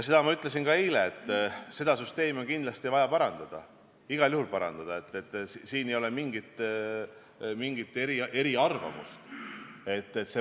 Ja ma ütlesin eile veel, et seda süsteemi on kindlasti vaja parandada, igal juhul tuleb seda parandada, siin ei ole mingit eriarvamust.